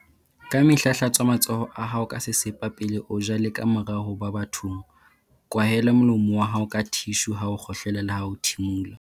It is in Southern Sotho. Kamehla hlatswa matsoho a hao ka sesepa pele o ja le kamora ho ba bathong. Kwahela molomo wa hao ka thishu ha o kgohlela leha ho thimola.